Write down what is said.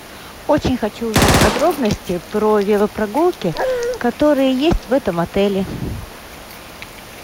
очень хочу узнать подробности про велопрогулки которые есть в этом отеле